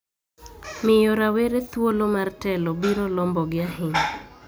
miyo rawere thuolo mar telo biro lombogi ahinya